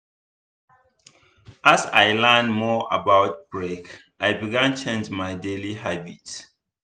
as i learn more about break i begin change my daily habit.